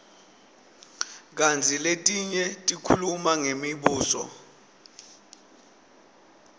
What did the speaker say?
kantsi letinye tikhuluma ngemibuso